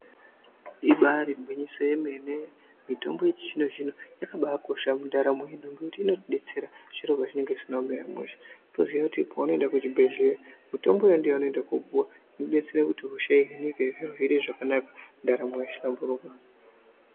Ibari gwinyiso remene mitombo yechizvino yakabakosha mundaramo yedu ngekuti inotidetsera zviro pazvinenge zvisina kumira mushe unotoziva kuti paunoenda kuchibhedhlera mitombo iyo yaunoenda kundopuwa inodetsera kuti hosha ihinike zviro zviite zvakanaka ndaramo yohlamburuka.